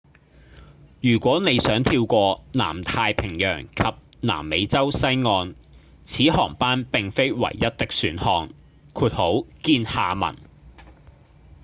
如果你想跳過南太平洋及南美洲西岸此航班並非唯一的選項見下文